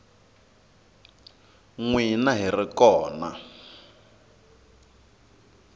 n wina hi ri kona